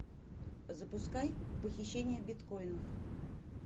запускай похищение биткоинов